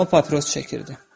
O papiros çəkirdi.